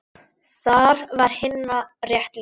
Þar var Hinna rétt lýst.